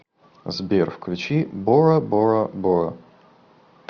сбер включи бора бора бора